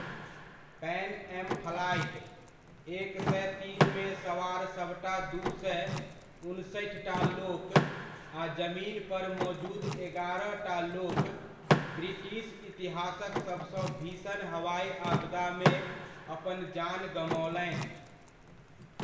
Pan Am flight, एक सए तीनमे सवार सभटा दू सए उनसठिटा लोक आ जमीन पर मोजुद एगारहटा लोक ब्रिटिश इतिहासक सभसँ भीषण हवाइ आपदामे अपन जान गमओलनि।